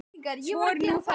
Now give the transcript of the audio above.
Svo er nú það.